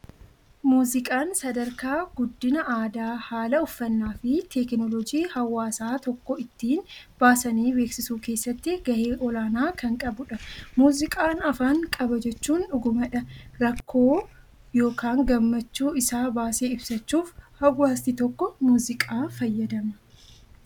Muuziqaan sadarkaa guddina aadaa, haala uffannaa fi teekinooloojii hawaasa tokkoo ittiin basanii beeksisuu keessatti gahee olaanaa kan qabudha. Muuziqaan afaan qaba jechuun dhugumadha. Rakkoo yookaan gammachuu isaa baasee ibsachuuf hawaasti tokko muuziqaa fayyadama.